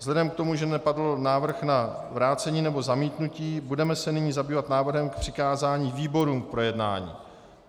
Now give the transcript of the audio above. Vzhledem k tomu, že nepadl návrh na vrácení nebo zamítnutí, budeme se nyní zabývat návrhem k přikázání výborům k projednání.